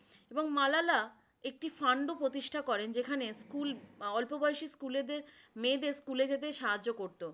এবং মালালা একটি fund ও প্রতিষ্ঠা করেন যেখানে স্কুল, অল্পবয়সী স্কুল যে মেয়েদের স্কুলে যেতে সাহায্য করতো।